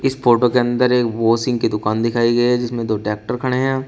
इस फोटो के अंदर एक वाशिंग की दुकान दिखाई गई है। जिसमे दो ट्रैक्टर खड़े है।